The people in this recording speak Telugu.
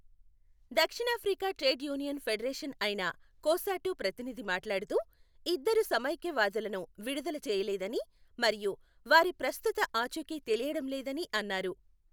దక్షిణాఫ్రికా ట్రేడ్ యూనియన్ ఫెడరేషన్ అయిన కోసాటు ప్రతినిధి మాట్లాడుతూ, ఇద్దరు సమైక్యవాదులను విడుదల చేయలేదని మరియు వారి ప్రస్తుత ఆచూకీ తెలియడం లేదని అన్నారు.